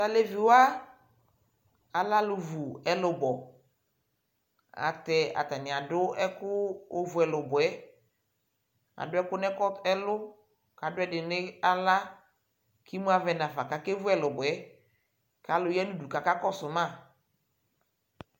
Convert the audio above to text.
Tʋ alevi wa, alɛ alʋ wu ɛlʋbɔ Atɛ atanɩ adʋ ɛkʋ ovu ɛlʋbɔ yɛ Adʋ ɛkʋ nʋ ɛkɔ ɛlʋ kʋ adʋ ɛdɩnɩ nʋ aɣla kʋ imu avɛ nafa kʋ akevu ɛlʋbɔ yɛ kʋ alʋ ya nʋ udu kʋ akakɔsʋ ma